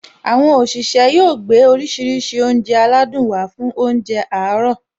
Àwọn òṣìṣẹ́ yóò gbé oríṣiríṣi oúnjẹ aládùn wá fún óúnjẹ àárọ̀